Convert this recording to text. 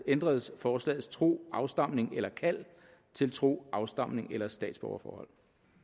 ændredes forslagets tro afstamning eller kald til tro afstamning eller statsborgerforhold